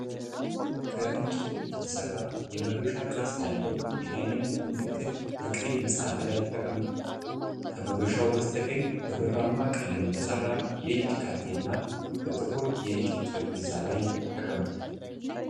ከእንጨት የተሠራው የመዶሻ ቅርጽ ያለው የዳኝነት ምልክት በቀይ መጽሐፍ ላይ ተቀምጧል። ከመዶሻው በስተቀኝ፣ በብርማ ቀለም የተሠራ የእጅ ካቴና በጥቁር የእንጨት ጠረጴዛ ላይ ተቀምጧል።